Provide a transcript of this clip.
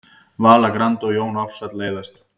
Vala Grand og Jón Ársæll leiðast